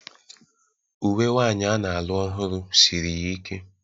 Uwe nwanyi a na-alụ ọhụrụ siri ya ike.